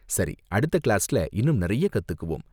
சரி, அடுத்த கிளாஸ்ல இன்னும் நிறைய கத்துக்குவோம்.